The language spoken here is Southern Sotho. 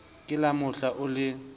le ka mohla o le